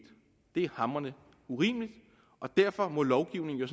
det er hamrende urimeligt og derfor må lovgivningen jo